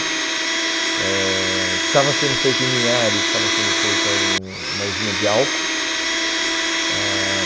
Eh estava sendo feito em Linhares, estava sendo feita um uma usina de álcool. Ãh